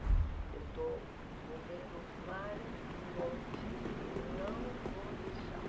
Eu estou movendo mar e monte e não vou deixar.